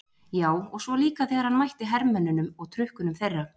Já, og svo líka þegar hann mætti hermönnunum og trukkunum þeirra.